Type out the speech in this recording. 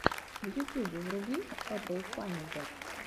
в ютюбе вруби эпл файндер